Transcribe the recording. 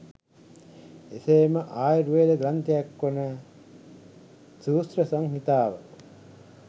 එසේම ආයුර්වේද ග්‍රන්ථයක් වන සුශ්‍ර සංහිතාව